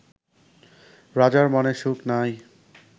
রাজার মনে সুখ নাই